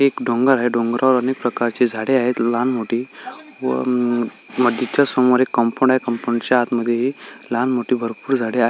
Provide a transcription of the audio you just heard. एक डोंगर आहे डोंगरावर विविध प्रकारची झाडे आहेत लहान मोठी व मस्जिद च्या समोर एक कंपनी आहे कंपनीच्या आतमध्ये लहानमोठी भरपुर झाडे --